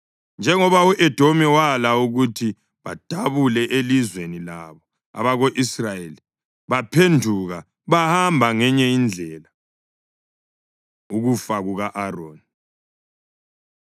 Njengoba u-Edomi wala ukuthi badabule elizweni labo, abako-Israyeli baphenduka bahamba ngenye indlela. Ukufa Kuka-Aroni